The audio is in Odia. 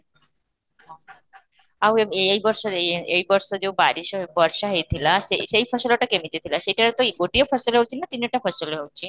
ଅଃ ଆଉ ଏବେ ଏଇ ବର୍ଷରେ ଏଇ ବର୍ଷ ଯାଉ ହେଇ ବର୍ଷା ହେଇଥିଲା, ସେ ସେଇ ଫସଲଟା କେମିତି ଥିଲା ସେଇଟାରେ ତ ଏଇ ଗୋଟିଏ ଫସଲ ହଉଛି ନା ତିନିଟା ଫସଲ ହେଉଛି